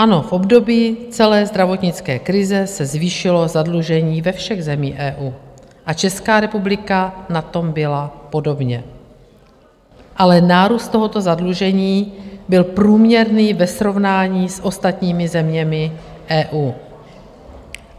Ano, v období celé zdravotnické krize se zvýšilo zadlužení ve všech zemích EU a Česká republika na tom byla podobně, ale nárůst tohoto zadlužení byl průměrný ve srovnání s ostatními zeměmi EU.